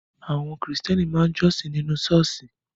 Àwọn Kristẹni máa ń jọ́sìn nínú Ṣọ́ọ̀ṣì